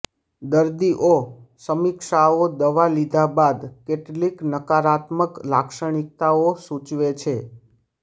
દર્દીઓ સમીક્ષાઓ દવા લીધા બાદ કેટલીક નકારાત્મક લાક્ષણિકતાઓ સૂચવે છે